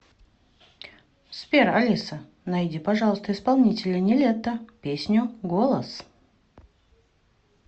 сбер алиса найди пожалуйста исполнителя нилетто песню голос